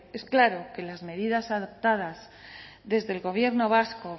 es claro que las medidas adoptadas desde el gobierno vasco